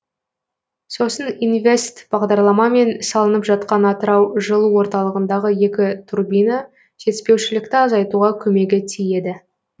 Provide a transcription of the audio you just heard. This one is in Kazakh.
сосын инвест бағдарламамен салынып жатқан атырау жылу орталығындағы екі турбина жетіспеушілікті азайтуға көмегі тиеді